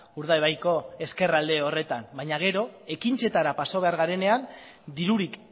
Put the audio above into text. urdaibaiko ezkerralde horretan baina gero ekintzetara pasa behar garenean dirurik